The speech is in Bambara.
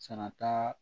Sara t'a